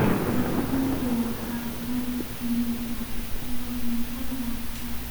Kalluunku waa qayb ka mid ah cuntada carruurta.